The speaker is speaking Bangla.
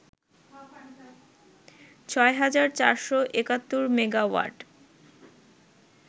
৬৪৭১ মেগাওয়াট